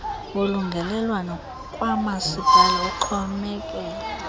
wolungelelwano kwamasipala uxhomekela